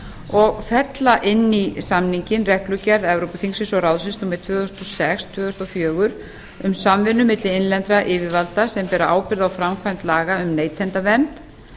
og fella inn í samninginn reglugerð evrópuþingsins og ráðsins númer tvö þúsund og sex tvö þúsund og fjögur um samvinnu milli innlendra yfirvalda sem bera ábyrgð á framkvæmd laga um neytendavernd